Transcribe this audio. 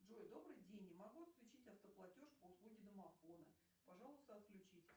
джой добрый день не могу отключить автоплатеж по услуге домофона пожалуйста отключите